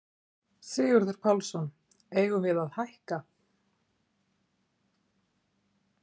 Sigurður Pálsson: Eigum við að hækka?